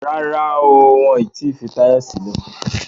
Rárá o, wọn ò tí fi Táyọ̀ sílẹ̀